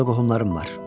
Orda qohumlarım var.